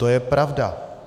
To je pravda.